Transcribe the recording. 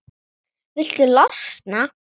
Viltu losna-?